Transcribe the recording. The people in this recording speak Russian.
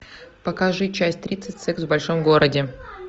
покажи часть тридцать секс в большом городе